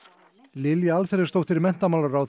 Lilja Alfreðsdóttir menntamálaráðherra